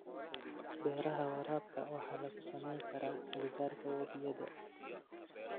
Beeraha waraabka waxaa lagu samayn karaa agagaarka webiyada.